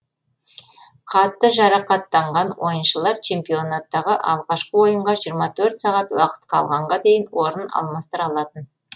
қатты жарақаттанған ойыншылар чемпионаттағы алғашқы ойынға жирыма төрт сағат уақыт қалғанға дейін орын алмастыра алатын